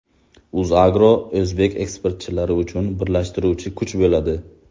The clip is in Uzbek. UzAgro o‘zbek eksportchilari uchun birlashtiruvchi kuch bo‘ladi.